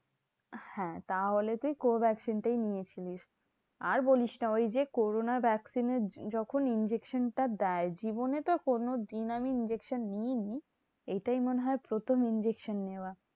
হ্যাঁ তাহলে তুই co vaccine টাই নিয়েছিলিস। আর বলিস না, ওই যে corona vaccine এর যখন injection টা দেয় জীবনে তো কোনো দিন আমি injection নিই নি। এইটাই মনে হয় প্রথম injection নেওয়া।